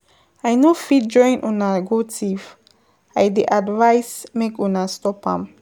I no fit join una go thief, I dey advice make una stop am.